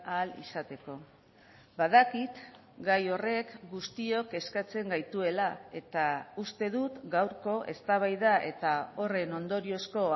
ahal izateko badakit gai horrek guztiok eskatzen gaituela eta uste dut gaurko eztabaida eta horren ondoriozko